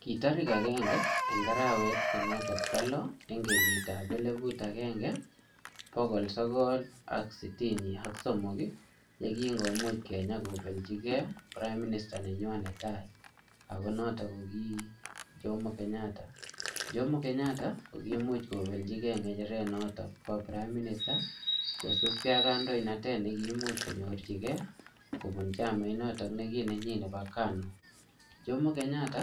Ki tarik agenge eng arawet ko notok bo lo, eng kenyit ap eleput agenge, bokol sogol ak sitini ak somok, yekingomuch Kenya kobelchikey prime minister nenywa ne tai, ako notok ko ki Jomo Kenyatta. Jomo Kenyatta, ko kimuch kobelchikey ngecheret notok bo prime minister, kosubkey ak kandoinatet ne kimuch konyorchikey, kobun chamait notok ne ki nenyi nebo KANU. Jomo Kenyatta,